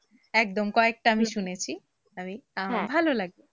একদম কয়েকটা আমি শুনেছি আমি ভালো লাগে।